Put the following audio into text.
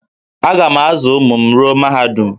Aga m azụ ụmụ m ruo mahadum